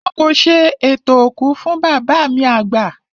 Wọn kò ṣe ètò òkú fún bàbá mi àgbà